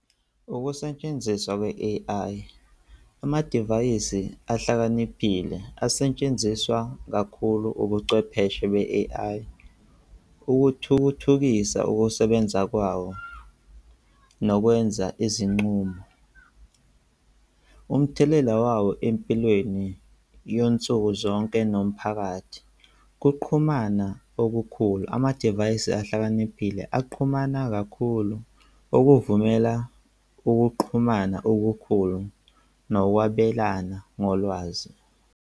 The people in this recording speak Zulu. Ukusetshenziswa kwe-A_I, amadivayisi ahlakaniphile asetshenziswa kakhulu ubuchwepheshe be-A_I. Ukuthuthukisa ukusebenza kwawo nokwenza izinqumo. Umthelela wawo empilweni yansuku zonke nomphakathi. Ukuxhumana okukhulu, amadivayisi ahlakaniphile aqhumana kakhulu okuvumela ukuxhumana okukhulu nokwabelana ngolwazi.